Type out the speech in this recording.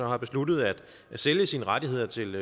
har besluttet at sælge sine rettigheder til